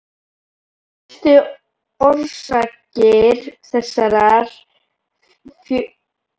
Helstu orsakir þessarar fjölgunar voru vegna hávaða-, ryks- og efnamengunar.